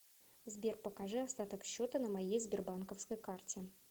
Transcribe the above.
сбер покажи остаток счета на моей сбербанковской карте